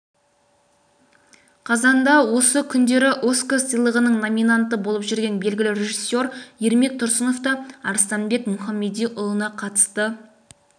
қазанда осы күндері оскар сыйлығының номинанты болып жүрген белгілі режиссер ермек тұрсынов та арыстанбек мұхамедиұлына қатысты